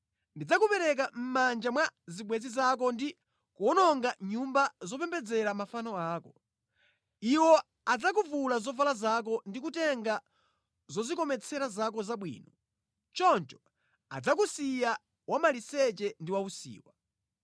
Ndidzakupereka mʼmanja mwa zibwenzi zako ndi kuwononga nyumba zopembedzera mafano ako. Iwo adzakuvula zovala zako ndi kutenga zodzikometsera zako zabwino. Choncho adzakusiya wa maliseche ndi wausiwa.